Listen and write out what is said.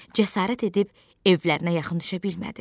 Cəsarət edib evlərinə yaxın düşə bilmədi.